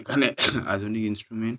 এখানে আধুনিক ইন্স্ট্রুমেন্ট --